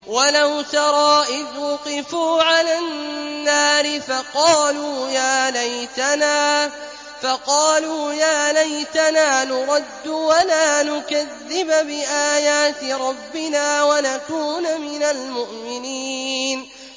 وَلَوْ تَرَىٰ إِذْ وُقِفُوا عَلَى النَّارِ فَقَالُوا يَا لَيْتَنَا نُرَدُّ وَلَا نُكَذِّبَ بِآيَاتِ رَبِّنَا وَنَكُونَ مِنَ الْمُؤْمِنِينَ